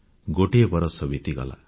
ଗୋଟିଏ ବରଷ ବିତିଗଲା